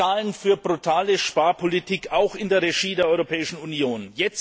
Sie zahlen für eine brutale Sparpolitik auch in der Regie der Europäischen Union.